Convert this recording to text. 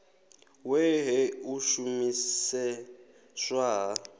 we he u shumiseswa ha